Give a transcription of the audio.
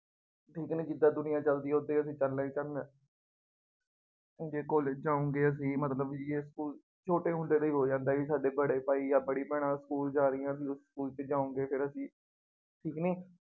ਜਿਦਾ ਜਿਦਾਂ ਦੁਨੀਆਂ ਚੱਲਦੀ ਹੈ ਉਦਾਂ ਉਦਾਂ ਚੱਲਣਾ ਹੀ ਪੈਂਦਾ ਜੇ ਕਾਲਜ ਜਾਉਗੇ ਅਸੀਂ ਮਤਲਬ ਬਈ ਸਕੂ਼ਲ ਛੋਟੇ ਹੁੰਦੇ ਦੇ ਹੀ ਹੋ ਜਾਂਦਾ ਬਈ ਸਾਡੇ ਪੜ੍ਹੇ ਤਾਂ ਹੀ ਯਾਰ ਮੈਂ ਪੜ੍ਹੀ ਗਿਆ ਸਕੂ਼ਲ ਜਾਰੀ ਹੈ ਵੀਰੋ, ਸਕੂ਼ਲ ਚ ਜਾਉਗੇ ਫੇਰ ਅਸੀਂ ਪਿਕਨਿਕ